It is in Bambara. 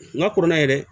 Nka kɔrɔla yɛrɛ